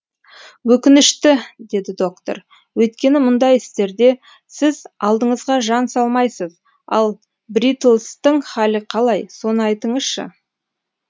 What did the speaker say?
өкінішті деді доктор өйткені мұндай істерде сіз алдыңызға жан салмайсыз ал бритлстің халі қалай соны айтыңызшы